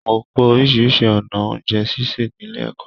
Mo kọ orisirisi ọnà oúnjẹ ṣíṣe nílé ẹ̀kọ́.